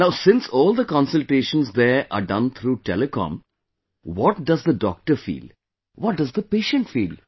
Now since all the consultations there are done through Telecom, what does the doctor feel; what does the patient feel